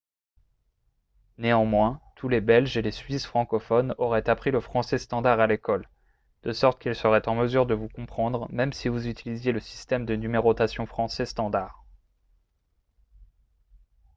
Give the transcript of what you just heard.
néanmoins tous les belges et les suisses francophones auraient appris le français standard à l'école de sorte qu'ils seraient en mesure de vous comprendre même si vous utilisiez le système de numérotation français standard